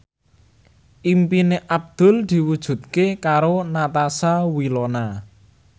impine Abdul diwujudke karo Natasha Wilona